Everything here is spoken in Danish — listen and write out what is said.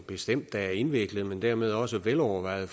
bestemt er indviklet men dermed også velovervejet